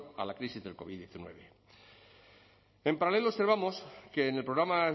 a la crisis del covid hemeretzi en paralelo observamos que en el programa